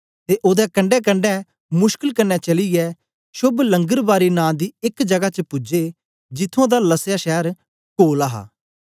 ते ओदे कंडैकंडै मुशकिल कन्ने चलीयै शोभ लंगरबारी नां दी एक जगा च पूजे जिथुआं दा लसया शैर कोल हा